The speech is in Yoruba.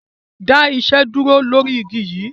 Dá iṣẹ́ dúró lọ̀rí igi yi!